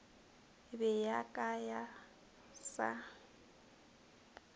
be ya ka ya sa